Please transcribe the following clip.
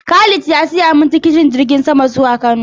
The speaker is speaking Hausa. Khalid ya siya min tikitin jirgin sama zuwa Kano